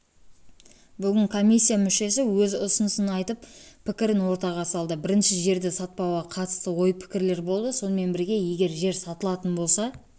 бүгін комиссия мүшесі өз ұсынысын айтып пікірін ортаға салды бірінші жерді сатпауға қатысты ой-пікірлер болды сонымен бірге егер жер сатылатын болса